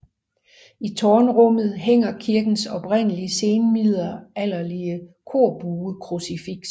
I tårnrummet hænger kirkens oprindelige senmiddelalderlige korbuekrucifiks